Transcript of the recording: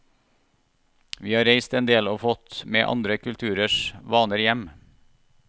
Vi har reist en del og fått med andre kulturers vaner hjem.